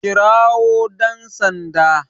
Kirawo dan Sanda